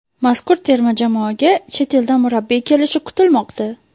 Mazkur terma jamoaga chet eldan murabbiy kelishi kutilmoqda .